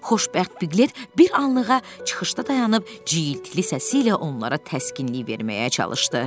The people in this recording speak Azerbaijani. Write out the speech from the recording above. Xoşbəxt Pqlet bir anlığa çıxışda dayanıb cılız səsi ilə onlara təskinlik verməyə çalışdı.